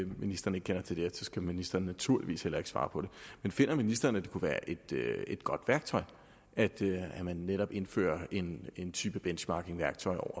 ministeren ikke kender til det og så skal ministeren naturligvis heller ikke svare på det men finder ministeren at det kunne være et godt værktøj at man netop indfører en en type benchmarkingværktøj